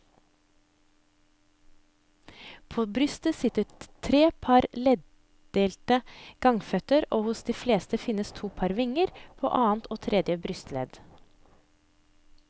På brystet sitter tre par leddelte gangføtter og hos de fleste finnes to par vinger, på annet og tredje brystledd.